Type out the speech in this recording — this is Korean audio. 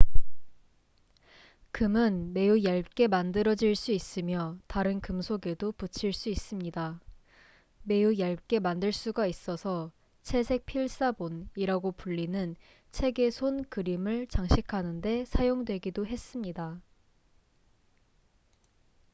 "금은 매우 얇게 만들어질 수 있으며 다른 금속에도 붙일 수 있습니다. 매우 얇게 만들 수가 있어서 "채색 필사본""이라고 불리는 책의 손 그림을 장식하는 데 사용되기도 했습니다.